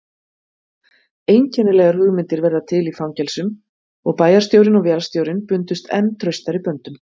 Einkennilegar hugmyndir verða til í fangelsum og bæjarstjórinn og vélstjórinn bundust enn traustari böndum.